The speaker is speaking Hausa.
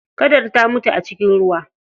Kadar ta mutu a cikin ruwa.